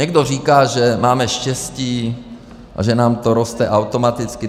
Někdo říká, že máme štěstí a že nám to roste automaticky.